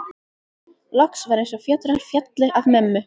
Loks var eins og fjötrar féllu af mömmu.